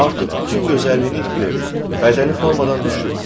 Artıq bütün gözəlliyini itirib, bədəni formadan düşüb.